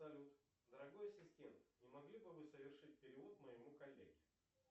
салют дорогой ассистент не могли бы вы совершить перевод моему коллеге